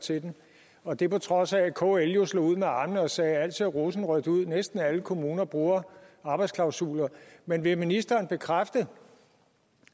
til den og det på trods af at kl jo slog ud med armene og sagde at alt så rosenrødt ud at næsten alle kommuner bruger arbejdsklausuler men vil ministeren bekræfte